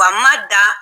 Wa ma da